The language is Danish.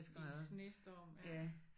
I snestorm ja